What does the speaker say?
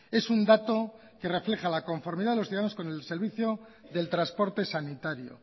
es un dato que refleja la conformidad de los ciudadanos con el servicio del transporte sanitario